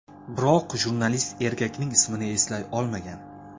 Biroq jurnalist erkakning ismini eslay olmagan.